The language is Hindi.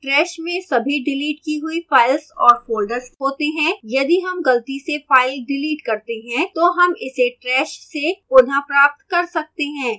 trash में सभी डिलीट की हुई files और folders होते हैं यदि हम गलती से files डिलीट करते हैं तो हम इसे trash से पुनः प्राप्त कर सकते हैं